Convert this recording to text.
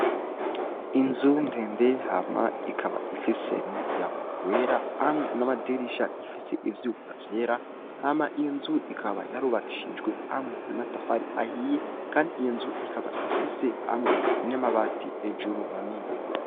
Inzu ndende hama ikaba ifise n'umuryango wera hamwe n'amadirisha bifise ivyuma vyera, hama iyo nzu ikaba yarubakishijwe hamwe n'amatafari ahiye, kandi iyo nzu ikaba ifise hamwe n'amabati hejuru manini.